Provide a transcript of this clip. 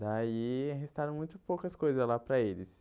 Daí restaram muito poucas coisas lá para eles.